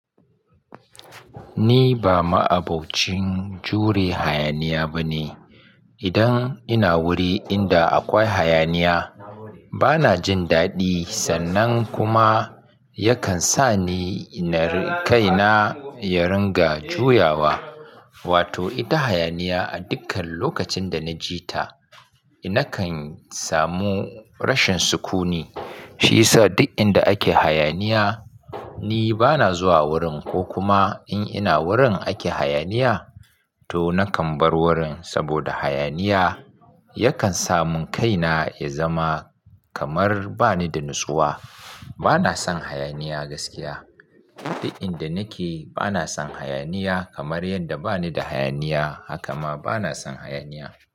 Ni ba ma'abocin jure hayaniya ba ne. Idan ina wuri inda akwai hayaniya, ba na jin daɗi sannan kuma yakan sa ni na kai na ya ringa juyawa. Wato ita hayaniya a dukkan lokacin da na ji ta, na kan samu rashin sukuni. Shi yasa duk inda ake hayaniya, ni ba na zuwa wurin ko kuma in ina wurin ake hayaniya, to na kan bar wurin. Saboda hayaniya yakan sa mun kai na ya zama kamar ba ni da natsuwa. Ba na son hayaniya gaskiya. Duk inda nake, ba na son hayaniya kamar yadda ba ni da hayaniya, haka ma ba na son hayaniya.